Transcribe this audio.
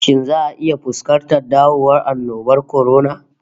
Shin za'a iya fuskantar dawowan annobar kwarona?